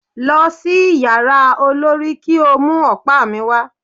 Lọ sí yàrá olorì kí o mú ọ̀pá mi wà.